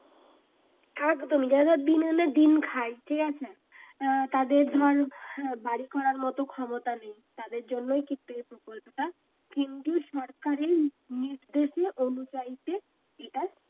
একদম যারা যারা দিন আনে দিন খায় ঠিক আছে আহ তাদের ধর বাড়ি করার মত ক্ষমতা নেই তাদের জন্যই কিন্তু এ প্রকল্পটা কিন্তু সরকারের নির্দেশে এটা